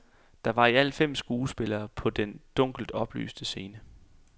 Der var i alt fem skuespillere på den dunkelt oplyste scene.